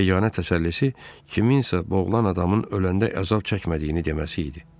Yeganə təsəllisi kiminsə boğulan adamın öləndə əzab çəkmədiyini deməsi idi.